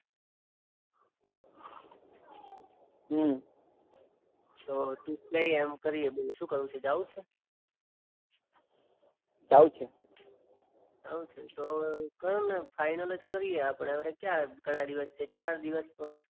હું. તો તુ કઈએ એમ કરીએ બોલ શું કરવું છે જવું છે. જવું છે. જવું છે તો ચલ ને ફાઇનલ જ કરીએ આપણે ક્યાં ઘણા દિવસ છે ચાર દિવસ છે.